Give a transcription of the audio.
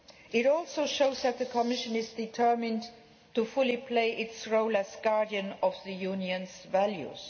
It also shows that the Commission is determined to play fully its role as guardian of the Unionʼs values.